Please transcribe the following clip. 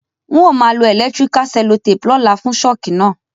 N o ma lo electrical cellotape lóla fun shock náà